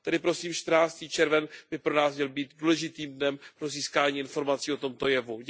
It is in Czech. Tedy prosím čtrnáctý červen by pro nás měl být důležitým dnem pro získání informací o tomto jevu.